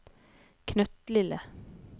knøttlille